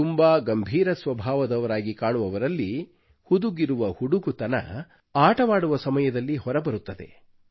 ತುಂಬಾ ಗಂಭೀರ ಸ್ವಭಾವದವರಾಗಿ ಕಾಣುವವರಲ್ಲಿ ಹುದುಗಿರುವ ಹುಡುಗುತನ ಆಟವಾಡುವ ಸಮಯದಲ್ಲಿ ಹೊರಬರುತ್ತದೆ